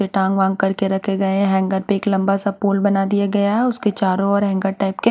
टांग वांग करके रखे गए हैं हैंगर पे एक लंबा सा पोल बना दिया गया है उसके चारों ओर हैंगर टाइप के --